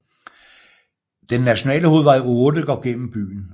Den nationale hovedvej 8 går gennem byen